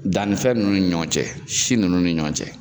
Dannifɛn ninnu ni ɲɔgɔn cɛ si ninnu ni ɲɔgɔn cɛ